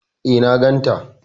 E, na ganta.